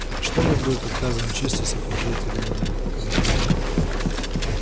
что мне будет отказано в чести сопровождать тебя на этот комтек